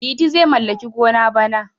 Liti zai mallaki gona bana.